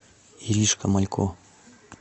иришка малько